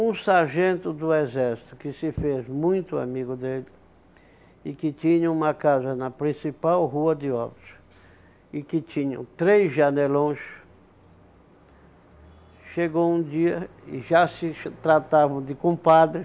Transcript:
Um sargento do exército, que se fez muito amigo dele, e que tinha uma casa na principal rua de Óbidos, e que tinham três janelões, chegou um dia e já se tratavam de compadre